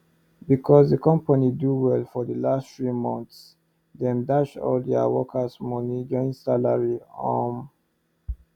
becos d company do well for d last three months dem dash all deir workes moni join salary um